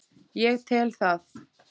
Ég tel það.